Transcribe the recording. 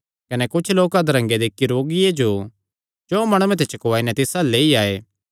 कने कुच्छ लोक अधरंगे दे इक्की रोगिये जो चौं माणुआं ते चुकवाई नैं तिस अल्ल लेई आये